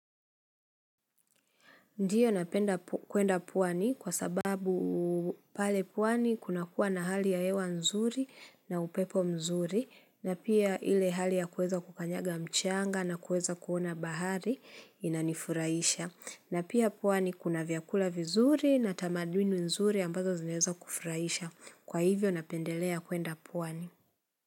Ndio napenda kwenda pwani kwa sababu pale pwani kuna kuwa na hali ya hewa nzuri na upepo mzuri na pia ile hali ya kuweza kukanyaga mchanga na kuweza kuona bahari inanifurahisha. Na pia pwani kuna vyakula vizuri na tamanduni nzuri ambazo zinaweza kufurahisha. Kwa hivyo napendelea kuenda puwani.